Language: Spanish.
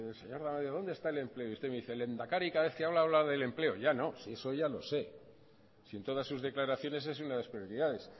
dónde está el empleo y usted me dice el lehendakari cada vez que habla habla del empleo ya no si eso ya lo sé si en todas sus declaraciones es una de lasprioridades